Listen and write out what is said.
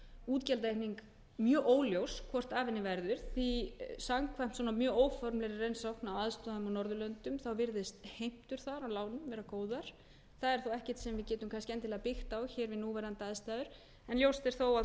útgjaldaaukning mjög óljós hvort af henni verður því samkvæmt svona mjög óformlegri reynslu af svona aðstæðum á norðurlöndum þá virðast heimtur þar af lánum góðar það er þó ekkert sem við getum endilega byggt á hér við núverandi aðstæður en ljóst er þó að